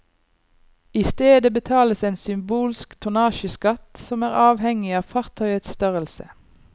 I stedet betales en symbolsk tonnasjeskatt som er avhengig av fartøyets størrelse.